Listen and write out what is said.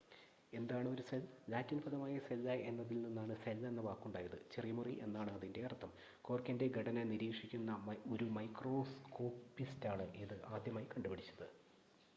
"എന്താണ് ഒരു cell? Latin പദമായ "സെല്ല" എന്നതിൽ നിന്നാണ് സെൽ എന്ന വാക്കുണ്ടായത്. "ചെറിയ മുറി" എന്നാണ് അതിനർത്ഥം. കോർക്കിന്റെ ഘടന നിരീക്ഷിക്കുന്ന ഒരു മൈക്രോസ്കോപ്പിസ്റ്റാണ് ഇത് ആദ്യമായി കണ്ടുപിടിച്ചത്.